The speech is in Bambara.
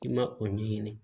I ma o ɲɛɲini